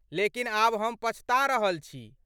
लेकिन आब हम पछता रहल छी।